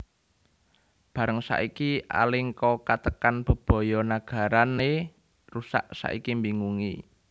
Bareng saiki Alengka katekan bebaya nagarané rusak saiki mbingungi